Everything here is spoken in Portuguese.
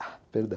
perdão.